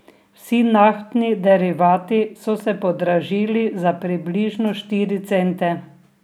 Vsi naftni derivati so se podražili za približno štiri cente.